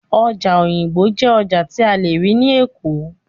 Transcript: Ọjà Òyìngbò jẹ́ ọjà tí a lè rí ní Èkó